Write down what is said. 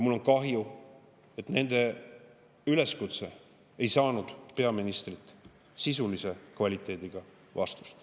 Mul on kahju, et nende üleskutse ei saanud peaministrilt sisulise kvaliteediga vastust.